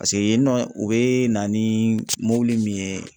Paseke yen nɔ , u be na ni mɔbili min ye